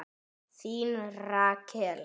Þín Rakel.